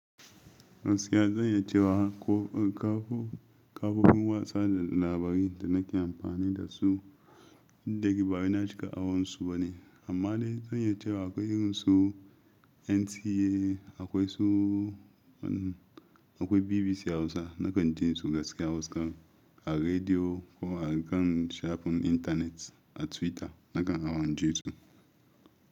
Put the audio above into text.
Gaskiya zan iya cewa kafofin watsa labari da nake amfani da su daga baya na shiga awansu bane. Amma dai zan yi cewa akwai irinsu NTA, akwai su akwai BBC Hausa nakan ji su gaskiya Hausa a rediyo ko a kan shafin internet a Twitter nakan awon jin su.